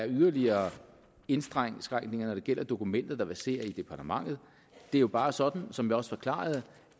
yderligere indskrænkninger når det gælder dokumenter der verserer i departementet det er jo bare sådan som jeg også forklarede